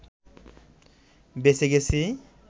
বেঁচে গেছি